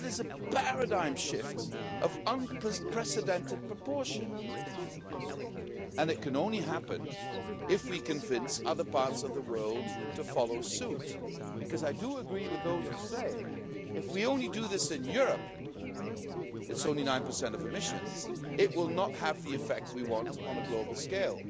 That is a paradigm shift of unprecedented proportion and it can only happen if we convince other parts of the world to follow suit because I do agree with those who say that if we only do this in Europe, it's only 9 of emissions and it will not have the effect we want on a global scale.